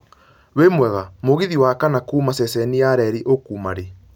Wĩmwega, mũgithi wa kana kuuma ceceni ya reri ũkauma rĩ